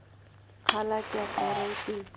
खाला क्या कह रही थी